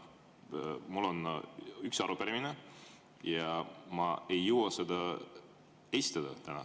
Mul on üks arupärimine ja ma ei jõua seda täna esitada.